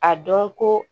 A dɔn ko